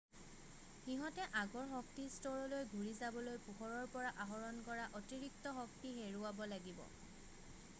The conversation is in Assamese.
সিহতে আগৰ শক্তিস্তৰলৈ ঘূৰি যাবলৈ পোহৰৰ পৰা আহৰণ কৰা অতিৰিক্ত শক্তি হেৰুৱাব লাগিব